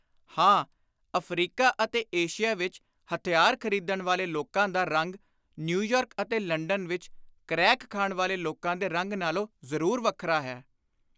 ਹਾਂ, ਅਫ਼ਰੀਕਾ ਅਤੇ ਏਸ਼ੀਆ ਵਿਚ ਹਥਿਆਰ ਖ਼ਰੀਦਣ ਵਾਲੇ ਲੋਕਾਂ ਦਾ ਰੰਗ ਨਿਊਯਾਰਕ ਅਤੇ ਲੰਡਨ ਵਿਚ ਕ੍ਰੈਕ ਖਾਣ ਵਾਲੇ ਲੋਕਾਂ ਦੇ ਰੰਗ ਨਾਲੋਂ ਜ਼ਰੁਰ ਵੱਖਰਾ ਹੈ।